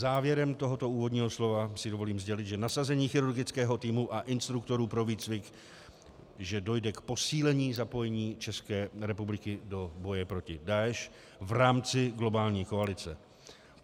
Závěrem tohoto úvodního slova si dovolím sdělit, že nasazení chirurgického týmu a instruktorů pro výcvik, že dojde k posílení zapojení České republiky do boje proti Daeš v rámci globální koalice.